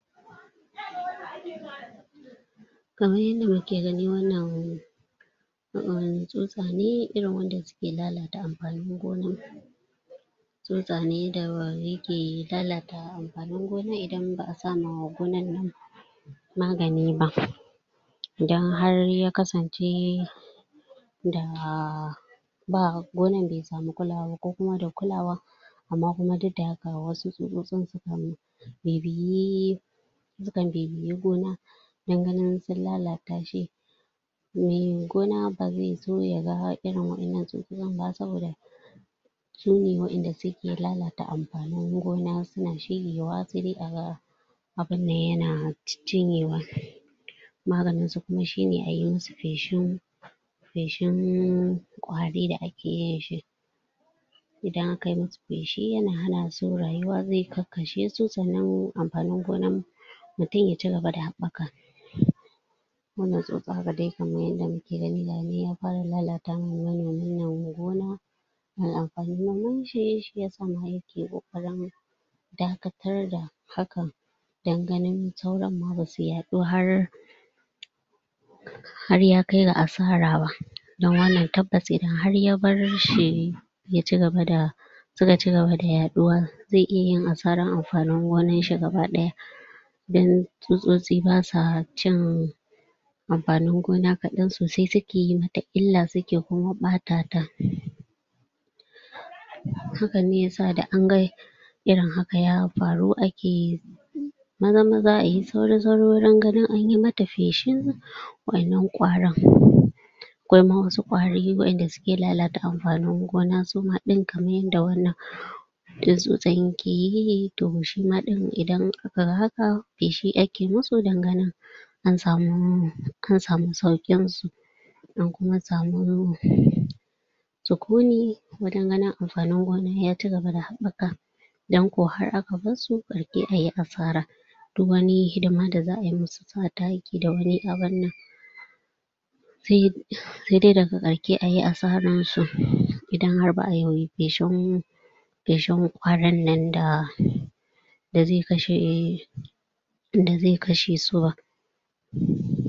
Kaman yadda muke gani wannan wani tsutsa ne irin wanda suke lalata amfanin gona tsutsa ne da yake lalata amfanin gona idan ba a sa ma gonan nan magani ba idan har ya kasance da gonan bai samu kulawa ba ko kuma da kulawa amma kuma duk da haka wasu tsutsotsin sukan? sukan bibiyi gona don ganin sun lalata shi mai gona ba zai so ya ga irin wa'innan tsutsinan ba saboda sune wanda suke lalata amfanin gona suna cirewa sai dai a ga abunnan yana cinyewa maganin su kuma shine a musu feshi feshin ƙwari da ake yin shi idan aka yi musu feshi yana hana su rayuwa ya kakkashe su sannan amfanin gona mutum ya cigaba da haɓɓaka wannan tsutsa wanda muke gani gayinan ya fara lalata ma manomi wannan gona amfanin noman shi shiyasa ma yake ƙoƙarin dakatar da hakan don ganin sauran ma basu yaɗu har har ya kai ga asara don wannan tabbas idan har an bar shi ya cigaba da suka cigaba da yaɗuwa zai iya yin asaran amfanin wannan ɗinshi gaba ɗaya don tsutsotsi basa cin amfanin gona kaɗan sosai suke yi mata illa suke ɓaɓɓata ta hakan ne yasa da an ga irin haka ya faru ake zama zama ayi sauri wurin ganin anyi mata feshi wannan ƙwarin akwai wasu ƙwari wa'inda suke lalata amfanin gona suma ɗin yanda wannan in tsutsan yanda yake yi to shima ɗin idan aka ga haka feshi ake musu don ganin an samu an samu sauƙin su an kuma samu sukuni wurin ganin amfanin gona ya cigaba da haɓaka idan ko har aka barsu to ayi asara duk wani hidima da za ayi musu sa taki da wani abunnan sai dai daga ƙarshe ayi asaran su idan har ba a yi feshi feshin ƙwarin nan da da zai kashe da zai kashe su ba?